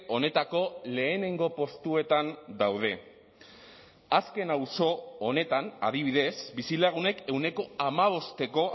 honetako lehenengo postuetan daude azken auzo honetan adibidez bizilagunek ehuneko hamabosteko